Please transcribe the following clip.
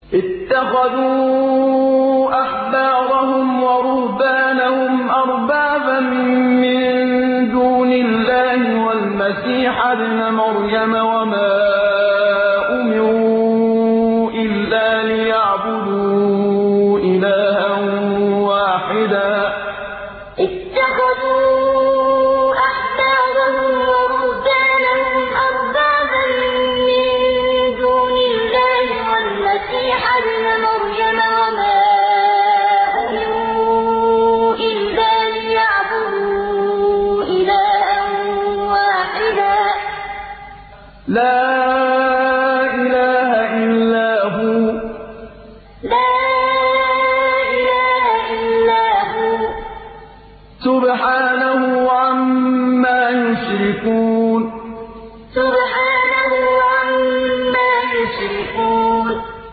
اتَّخَذُوا أَحْبَارَهُمْ وَرُهْبَانَهُمْ أَرْبَابًا مِّن دُونِ اللَّهِ وَالْمَسِيحَ ابْنَ مَرْيَمَ وَمَا أُمِرُوا إِلَّا لِيَعْبُدُوا إِلَٰهًا وَاحِدًا ۖ لَّا إِلَٰهَ إِلَّا هُوَ ۚ سُبْحَانَهُ عَمَّا يُشْرِكُونَ اتَّخَذُوا أَحْبَارَهُمْ وَرُهْبَانَهُمْ أَرْبَابًا مِّن دُونِ اللَّهِ وَالْمَسِيحَ ابْنَ مَرْيَمَ وَمَا أُمِرُوا إِلَّا لِيَعْبُدُوا إِلَٰهًا وَاحِدًا ۖ لَّا إِلَٰهَ إِلَّا هُوَ ۚ سُبْحَانَهُ عَمَّا يُشْرِكُونَ